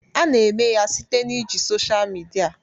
A na-eme ya site na iji social media